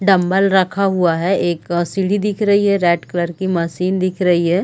Dumbbell रखा हुआ है एक सीडी दिख रही है रेड कलर की मशीन दिख रही है।